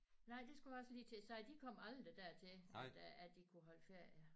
Nej det skulle jeg også lige til at sige de kom aldrig dertil at at de kunne holde ferie